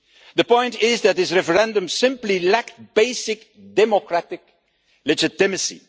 The point is that this referendum simply lacked basic democratic legitimacy.